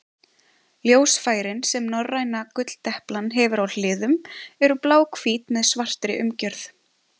Ljósfærin sem norræna gulldeplan hefur á hliðum eru bláhvít með svartri umgjörð.